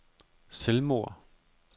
selvmord